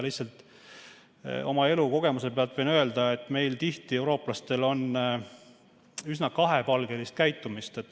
Lihtsalt oma elukogemuse pealt võin öelda, et meil eurooplastel on tihti üsna kahepalgelist käitumist.